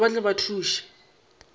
gore ba tle ba thuše